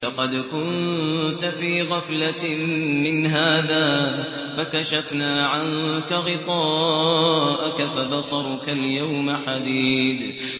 لَّقَدْ كُنتَ فِي غَفْلَةٍ مِّنْ هَٰذَا فَكَشَفْنَا عَنكَ غِطَاءَكَ فَبَصَرُكَ الْيَوْمَ حَدِيدٌ